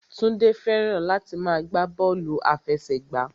Túndé fẹ́ràn láti máa gbá bọ́ọ̀lù àfẹsẹ̀gbá